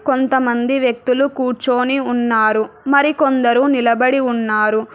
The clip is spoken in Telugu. కొంతమంది వ్యక్తులు కూర్చుని ఉన్నారు మరి కొందరు నిలబడి ఉన్నారు.